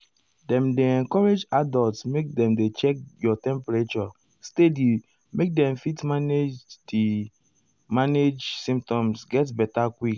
dem dey encourage adults make dem dey check your temperature steady make dem fit manage di manage di symptoms get beta quick.